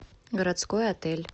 городской отель